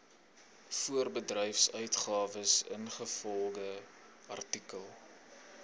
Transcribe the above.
voorbedryfsuitgawes ingevolge artikel